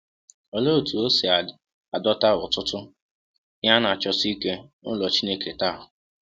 Olee otú e si adọta ọtụtụ “ihe a na-achọsi ike” n’ụlọ Chineke taa?